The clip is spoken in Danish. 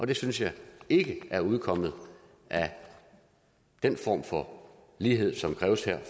det synes jeg ikke er udkommet af den form for lighed som kræves her af